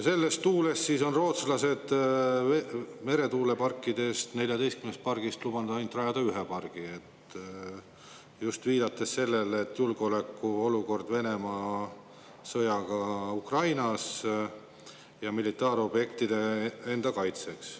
Selles tuules on rootslased lubanud 14‑st meretuulepargist rajada ainult ühe, viidates just julgeolekuolukorrale Venemaa sõdimise tõttu Ukrainas ja militaarobjektidele.